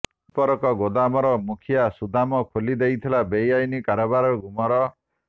ବିସ୍ଫୋରକ ଗୋଦାମର ମୁଖିଆ ସୁଦାମ ଖୋଲି ଦେଇଥିଲା ବେଆଇନ କାରବାରର ଗୁମର